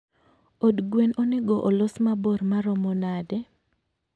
Od gwen onego olos mabor maromo nade?